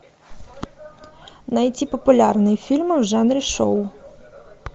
найти популярные фильмы в жанре шоу